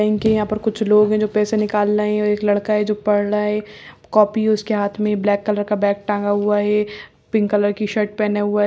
bank के यहाँ पर कुछ लोग हैं जो पैसे निकाल रहे हैं एक लड़का है जो पढ़ रहा है कॉपी है उसके हाथ में ब्लैक कर का बैग टांगा हुआ है पिंक कलर की शर्ट पहने हुए --